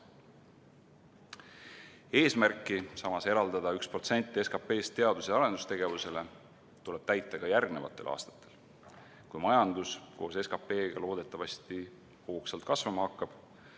Samas tuleb eesmärki eraldada vähemalt 1% SKP-st teadus- ja arendustegevuseks täita ka järgmistel aastatel, kui majandus koos SKP-ga loodetavasti hoogsalt kasvama hakkab.